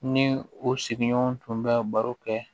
Ni u sigiɲɔgɔn tun bɛ baro kɛ